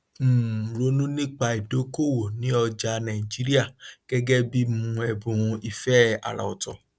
um ronú nípa ìdókòwò ní ọjà nàìjíríà gẹgẹ bí um ẹbùn ìfẹ àrà ọtọ